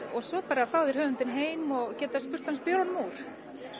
og svo bara fá þeir höfundinn heim og geta spurt hann spjörunum úr